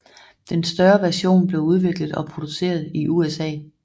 Den større version blev udviklet og produceret i USA